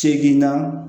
Segin na